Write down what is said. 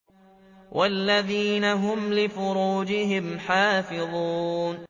وَالَّذِينَ هُمْ لِفُرُوجِهِمْ حَافِظُونَ